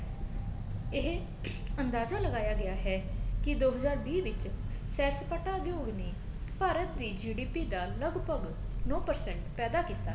ਇਹ ਅੰਦਾਜਾ ਲਗਾਇਆ ਗਿਆ ਹੈ ਕੀ ਦੋ ਹਜਾਰ ਵੀਹ ਵਿੱਚ ਸੈਰ ਸਪਾਟਾ ਉਦਯੋਗ ਨੇ ਭਾਰਤ ਦੀ GDP ਦਾ ਲੱਗਭਗ ਨੋਂ percent ਪੈਦਾ ਕੀਤਾ ਹੈ